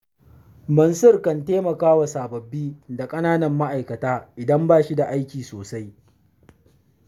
Mansur kan taimakawa sababbi da ƙananan ma'aikata, idan ba shi da aiki sosai.